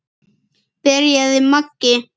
byrjaði Maggi.